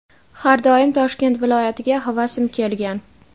har doim Toshkent viloyatiga havasim kelgan.